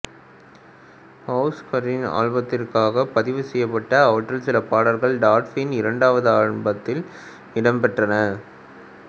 ஷ்செஸிங்கரின் ஆல்பத்திற்காக பதிவு செய்யப்பட்ட அவற்றில் சில பாடல்கள் டால்ஸின் இரண்டாவது ஆல்பத்தில் இடம் பெற்றன